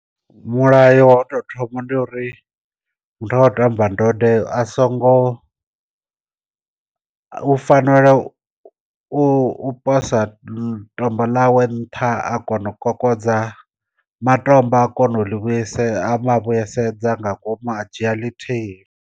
Mulayo wa to thoma ndi uri muthu a khou tamba ndode a songo u fanela u posa tombo ḽa we nṱha a kona u kokodza matombo a kona u ḽivhuyi a ma vhuyisedza nga ngomu a dzhia ḽithihi.